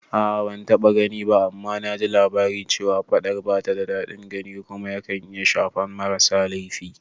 A'a ban taɓa gani ba, amma naji labari cewa faɗar bata da daɗin gani kuma yakan iya shafan marasa laifi